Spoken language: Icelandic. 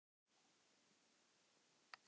Húbert, hvenær kemur vagn númer þrjátíu og fimm?